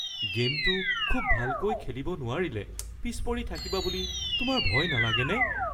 গে'মটো খুব ভালকৈ খেলিব নোৱাৰিলে পিছ পৰি থাকিবা বুলি তোমাৰ ভয় নালাগেনে? (General Z one)